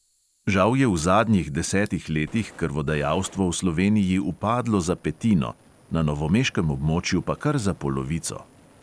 Žal je v zadnjih desetih letih krvodajalstvo v sloveniji upadlo za petino, na novomeškem območju pa kar za polovico.